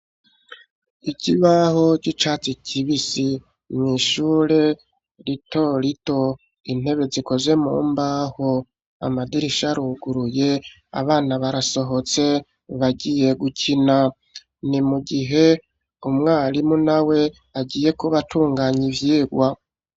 Ikibaho c'icatsi kibisi, mw'ishure rito lito intebe zikoze mumbaho amadirisha ruguruye abana barasohotse bagiye gukina ni mu gihe umwarimu na we agiye kubatunganya ivyigwa.